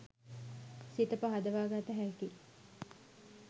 සිත පහදවා ගත හැකියි